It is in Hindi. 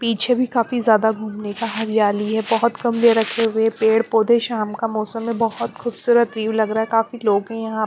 पीछे भी काफ़ी ज्यादा हरियाली है बहुत कम ले रखे हुए पेड़ पौधे शाम का मौसम है बहुत खूबसूरत व्यू लग रहा है काफ़ी लोंग--